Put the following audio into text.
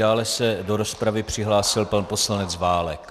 Dále se do rozpravy přihlásil pan poslanec Válek.